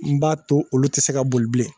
N b'a to olu te se ka boli bilen